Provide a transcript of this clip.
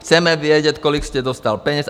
Chceme vědět, kolik jste dostal peněz.